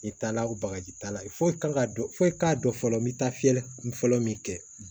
I t'a la o bagaji t'a la foyi kan ka dɔn foyi t'a dɔn fɔlɔ n bɛ taa fiyɛli kun fɔlɔ min kɛ